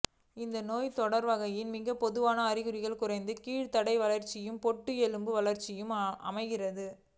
இந்நோய்த்தொகையின் மிகப் பொதுவான அறிகுறிளாக குறைந்த கீழ்தாடை வளர்ச்சியும் பொட்டு எலும்பு வளர்ச்சியும் அமைகின்றன